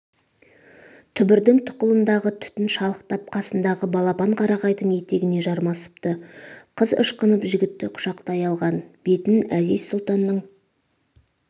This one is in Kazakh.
түбірдің тұқылындағы түтін шалықтап қасындағы балапан қарағайдың етегіне жармасыпты қыз ышқынып жігітті құшақтай алған бетін әзиз сұлтанның